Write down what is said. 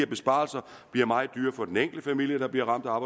besparelser bliver meget dyrere for den enkelte familie der bliver ramt af